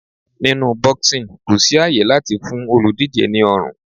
Nínú boxing kò sí àyè láti fún olùdíje ní ọrùn.